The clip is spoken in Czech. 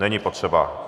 Není potřeba.